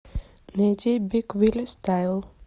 найди биг вилли стайл